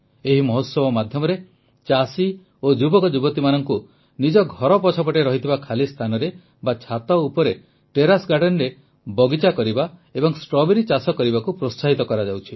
ଏହି ମହୋତ୍ସବ ମାଧ୍ୟମରେ ଚାଷୀ ଓ ଯୁବକ ଯୁବତୀମାନଙ୍କୁ ନିଜ ଘର ପଛପଟେ ଥିବା ଖାଲିସ୍ଥାନରେ ବା ଛାତ ଉପର ଟେରେସ୍ Gardenରେ ବଗିଚା କରିବା ଏବଂ ଷ୍ଟ୍ରବେରୀ ଚାଷ କରିବାକୁ ପ୍ରୋତ୍ସାହିତ କରାଯାଉଛି